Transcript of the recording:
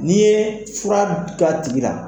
N'i ye fura k'a tigi la,